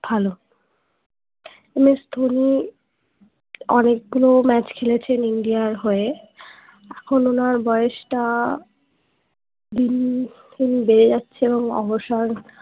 ভালো MS ধোনি অনেক গুলো match খেলেছেন India র হয়ে এখুন ওনার বয়সটা দিন দিন বেড়ে যাচ্ছে এবং অবসর